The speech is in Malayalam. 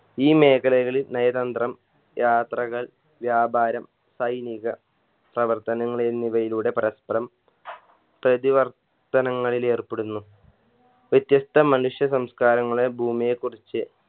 ഈ മേഖലകളിൽ നയതന്ത്രം യാത്രകൾ വ്യാപാരം സൈനീക പ്രവർത്തനങ്ങൾ എന്നിവയിലൂടെ പരസ്പരം പ്രതിവർത്തനങ്ങളിലേർപ്പെടുന്നു വ്യത്യസ്ത മനുഷ്യ സംസ്കാരങ്ങളെ ഭൂമിയെ കുറിച്ച്